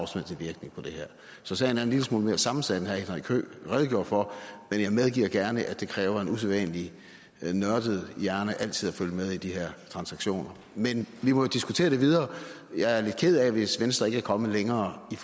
så sagen er en lille smule mere sammensat end herre henrik høegh redegjorde for men jeg medgiver gerne at det kræver en usædvanlig nørdet hjerne altid at følge med i de her transaktioner men vi må jo diskutere det videre jeg er lidt ked af hvis venstre ikke er kommet længere i